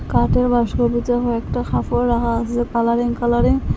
কাঠের বাস্কর ভিতরে অনেকটা কাফড় রাহা আসে কালারিং কালারিং ।